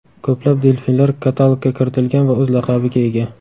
Ko‘plab delfinlar katalogga kiritilgan va o‘z laqabiga ega.